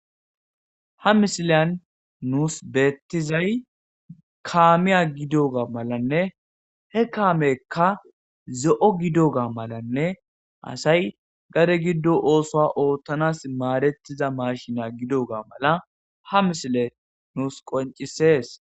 Ha misiliyan nuus beeththizay kaamiya gidiyoogaa malanne he kaameekka zo7o gidoogaa malanne asay gade giddo oosuwa ooththanaassi maadeththiza maashiniya gidoogaa mala ha misilee nuu qonccissees.